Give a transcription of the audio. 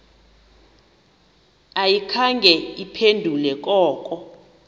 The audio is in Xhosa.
ayikhange iphendule koko